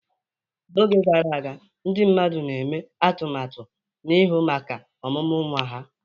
N'oge gara aga, ndị mmadụ na-eme atụmatụ n'ihu maka ọmụmụ nwa ha.